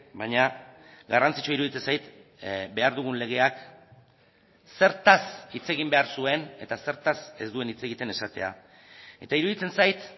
baina garrantzitsua iruditzen zait behar dugun legeak zertaz hitz egin behar zuen eta zertaz ez duen hitz egiten esatea eta iruditzen zait